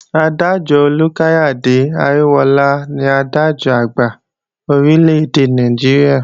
Adájọ́ Olúkáyàde Aríwóọlá ní Adájọ́-Àgbà Orílè-èdè Nàìjíríà